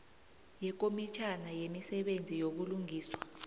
yekomitjhana yemisebenzi yobulungiswa